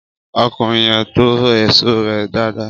Ọkùnrin yẹn to èso rẹ dáadáa